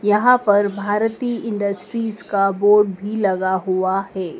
यहां पर भारतीय इंडस्टरीज का बोर्ड भी लगा हुआ हैं।